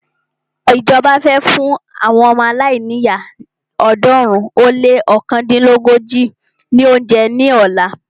Ìjọba fẹ́ fún àwọn ọmọ aláìníyá ọ̀ọ́dúnrún ó lé ọ̀kándínlógójì ní óúnjẹ ní ọ̀la.